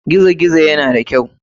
Gizo gizo na da kyau.